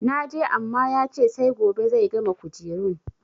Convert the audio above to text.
Na je amma ya ce sai gobe zai gama kujerun.